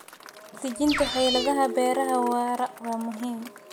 Dejinta xeeladaha beeraha waara waa muhiim.